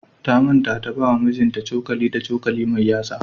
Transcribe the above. Ta manta ta bawa mijinta cokali da cokali mai yatsa.